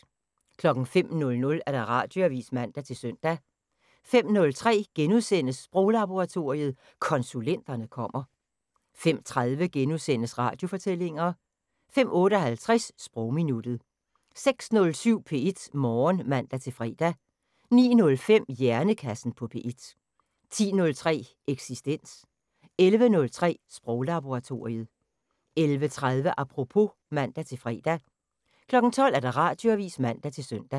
05:00: Radioavisen (man-søn) 05:03: Sproglaboratoriet: Konsulenterne kommer * 05:30: Radiofortællinger * 05:58: Sprogminuttet 06:07: P1 Morgen (man-fre) 09:05: Hjernekassen på P1 10:03: Eksistens 11:03: Sproglaboratoriet 11:30: Apropos (man-fre) 12:00: Radioavisen (man-søn)